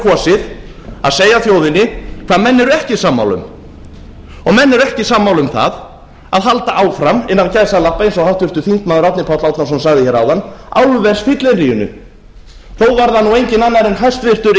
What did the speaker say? kosið að segja þjóðinni hvað menn eru ekki sammála um og menn eru ekki sammála um það að halda áfram eins og háttvirtur þingmaður árni páll árnason sagði hér áðan álversfylliríinu þó var það enginn annar en